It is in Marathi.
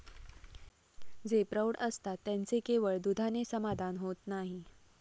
जे प्रौढ असतात, त्यांचे केवळ दुधाने समाधान होत नाही.